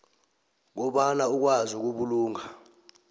kobana ukwazi ukubulunga